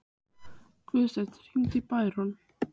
Guðstein, hringdu í Bæron.